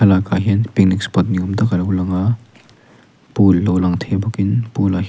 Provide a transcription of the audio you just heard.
ah hian picnic spot ni awm tak a lo lang a pool lo lang thei bawk in pool ah--